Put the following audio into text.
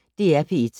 DR P1